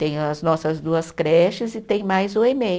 Tem as nossas duas creches e tem mais o Emei.